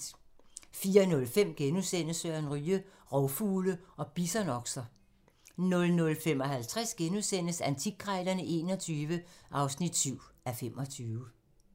04:05: Søren Ryge: Rovfugle og bisonokser * 05:55: Antikkrejlerne XXI (7:25)*